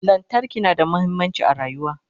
lantarki na da muhimmanci a rayuwa